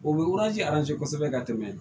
O bɛ kosɛbɛ ka tɛmɛ